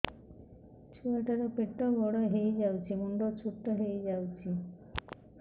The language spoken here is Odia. ଛୁଆ ଟା ର ପେଟ ବଡ ହେଇଯାଉଛି ମୁଣ୍ଡ ଛୋଟ ହେଇଯାଉଛି